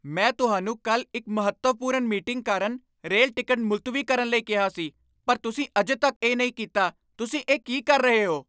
ਮੈਂ ਤੁਹਾਨੂੰ ਕੱਲ੍ਹ ਇੱਕ ਮਹੱਤਵਪੂਰਨ ਮੀਟਿੰਗ ਕਾਰਨ ਰੇਲ ਟਿਕਟ ਮੁਲਤਵੀ ਕਰਨ ਲਈ ਕਿਹਾ ਸੀ ਪਰ ਤੁਸੀਂ ਅਜੇ ਤੱਕ ਇਹ ਨਹੀਂ ਕੀਤਾ, ਤੁਸੀਂ ਇਹ ਕੀ ਕਰ ਰਹੇ ਹੋ?